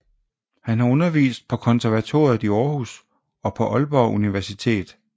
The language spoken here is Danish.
Han har undervist på konservatoriet i Aarhus og på Aalborg Universitet